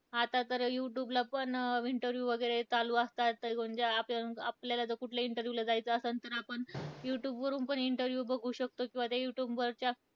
आता तर youtube ला पण interview वगैरे चालू असतात. तर म्हणजे आप आपल्याला जर कुठल्या interview ला जायचं असंल तर आपण, youtube वरून पण interview बघू शकतो. किंवा त्या youtube वरच्या,